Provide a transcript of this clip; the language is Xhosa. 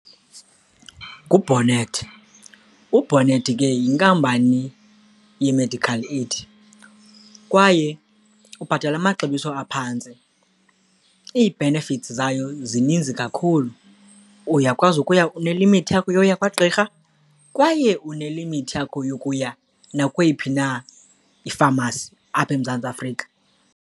NguBonnet, uBonnet ke yinkampani ye-medical aid kwaye ubhatala amaxabiso aphantsi. Ii-benefits zayo zininzi kakhulu, uyakwazi ukuya, unelimithi yakho yokuya kwagqirha kwaye unelimithi yakho yokuya nakweyiphi na ifamasi apha eMzantsi Afrika.